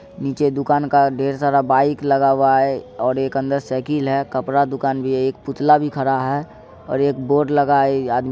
नीचे दुकान का ढेर सारा बाईक लगा हुआ है और एक अंदर से साइकिल है कपड़ा दुकान भी है एक पुतला भी खड़ा है और एक बोर्ड भी लगा है। ये आदमी--